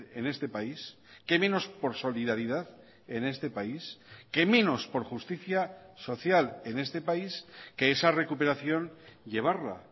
en este país qué menos por solidaridad en este país qué menos por justicia social en este país que esa recuperación llevarla